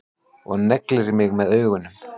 Og neglir mig með augunum.